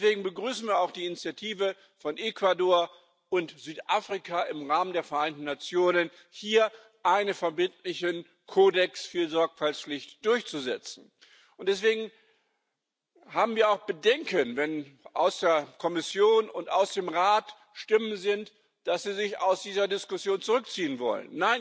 Deswegen begrüßen wir auch die Initiative von Ecuador und Südafrika, im Rahmen der Vereinten Nationen hier einen verbindlichen Kodex für die Sorgfaltspflicht durchzusetzen. Und deswegen haben wir auch Bedenken, wenn es aus der Kommission und aus dem Rat Stimmen gibt, dass sie sich aus dieser Diskussion zurückziehen wollen.